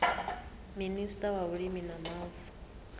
minista wa vhulimi na mavu